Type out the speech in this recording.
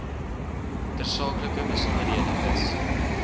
tersaaklike besonderhede is